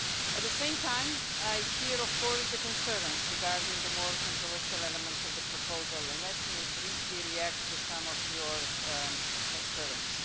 At the same time, I hear, of course, the concerns regarding the more controversial elements of the proposal, and let me briefly react to some of your concerns.